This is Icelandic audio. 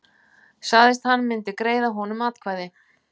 Sagðist hann myndi greiða honum atkvæði